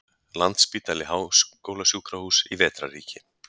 Landspítali- háskólasjúkrahús í vetrarríki.